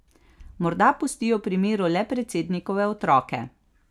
Morda pustijo pri miru le predsednikove otroke.